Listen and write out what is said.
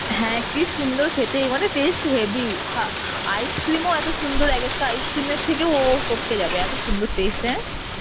হ্যাঁ কি সুন্দর খেতে মানে taste হেবি হা ice cream ও এত সুন্দর এক একটা ice cream এর থেকেও ও ও টপকে যাবে এত সুন্দর taste এন